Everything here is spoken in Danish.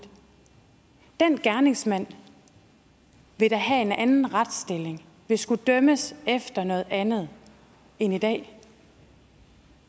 den gerningsmand vil da have en anden retsstilling og vil skulle dømmes efter noget andet end i dag